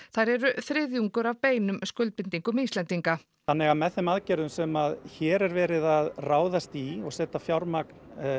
þær eru þriðjungur af beinum skuldbindingum Íslendinga þannig að með þeim aðgerðum sem hér er verið að ráðast í og setja fjármagn